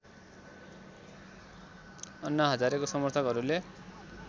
अन्ना हजारेको समर्थकहरूले